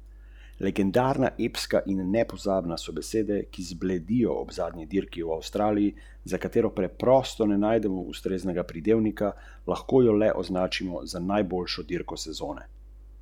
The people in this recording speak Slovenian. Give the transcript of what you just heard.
Zato se ta črka uporablja za označevanje razdalje.